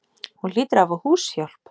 Hún hlýtur að hafa húshjálp.